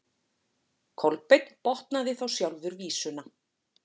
Kolbeinn botnaði þá sjálfur vísuna: